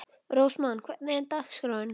Rósmann, hvernig er dagskráin?